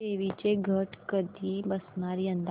देवींचे घट कधी बसणार यंदा